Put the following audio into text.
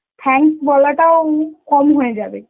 thanks বলাটাও উম কম হয়ে যাবে.